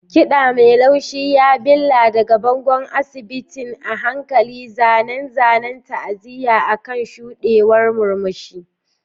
Kiɗa mai laushi ya billa daga bangon asibitin, a hankali zanen zanen ta'aziyya akan shuɗewar murmushi.